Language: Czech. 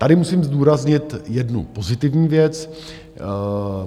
Tady musím zdůraznit jednu pozitivní věc.